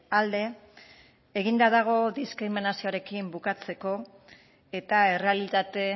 alde eginda dago diskriminazioarekin bukatzeko eta errealitate